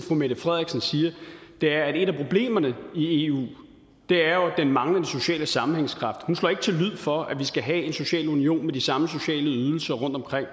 fru mette frederiksen siger er at et af problemerne i eu jo er den manglende sociale sammenhængskraft hun slår ikke til lyd for at vi skal have en social union med de samme sociale ydelser rundtomkring